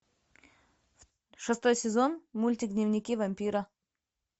шестой сезон мультик дневники вампира